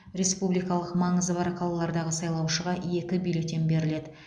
республикалық маңызы бар қалалардағы сайлаушыға екі бюллетен беріледі